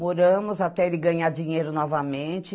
Moramos até ele ganhar dinheiro novamente.